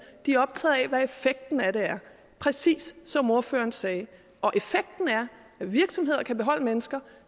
de er optaget af hvad effekten af det er præcis som ordføreren sagde og effekten er at virksomheder kan beholde mennesker